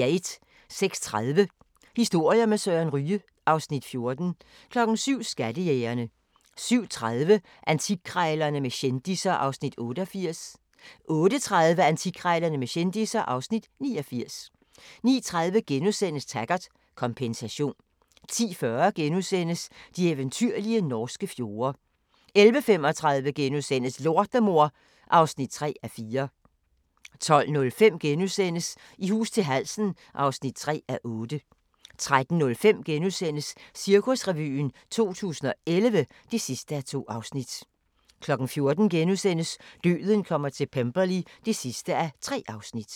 06:30: Historier med Søren Ryge (Afs. 14) 07:00: Skattejægerne 07:30: Antikkrejlerne med kendisser (Afs. 88) 08:30: Antikkrejlerne med kendisser (Afs. 89) 09:30: Taggart: Kompensation * 10:40: De eventyrlige norske fjorde * 11:35: Lortemor (3:4)* 12:05: I hus til halsen (3:8)* 13:05: Cirkusrevyen 2011 (2:2)* 14:00: Døden kommer til Pemberley (3:3)*